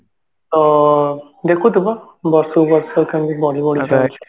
ତ ଦେଖୁଥିବ ବର୍ଷକୁ ବର୍ଷ କେମିତି ବଢି ବଢି ଯାଉଛି